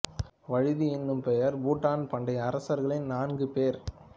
வழுதி என்னும் பெயர் பூண்ட பாண்டிய அரசர்கள் நான்கு பேர்